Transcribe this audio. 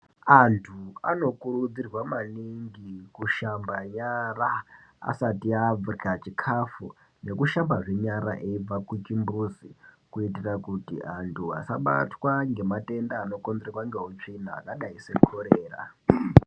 Antu anokurudzirwa maningi kushamba nyara asati arya chikafu nekushambazve nyara eibva kuchimbuzi, kuitira kuti antu asabatwa ngematenda anokonzerwa ngeutsvina akadai sekorera.